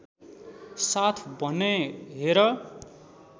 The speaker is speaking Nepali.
साथ भनेँ हेर